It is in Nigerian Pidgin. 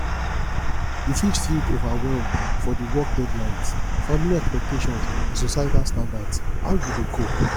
you fit feel overwhelmed for di work deadlines family expectations and societal standards how you dey cope